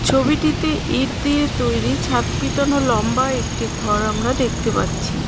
ছবিটিতে ইট দিয়ে তৈরি ছাদ পিটানো লম্বা একটি ঘর আমরা দেখতে পাচ্ছি.